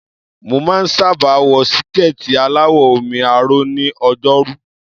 Mo máa ń sábà wọ síkẹ̀ẹ̀tì aláwọ̀ omi-aró ní Ọjọ́rú.